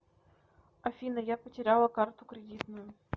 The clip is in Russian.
афина я потеряла карту кредитную